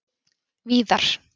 Víðar